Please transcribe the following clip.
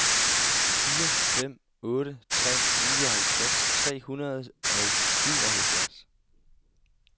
fire fem otte tre nioghalvtreds tre hundrede og syvoghalvfjerds